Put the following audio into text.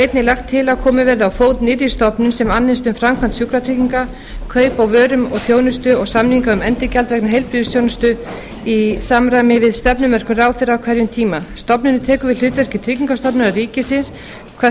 einnig lagt til að komið verði á fót nýrri stofnun sem annist um framkvæmd sjúkratrygginga kaup á vörum og þjónustu og samninga um endurgjald vegna heilbrigðisþjónustu í samræmi við stefnumörkun ráðherra á hverjum tíma stofnunin tekur við hlutverki tryggingastofnunar ríkisins hvað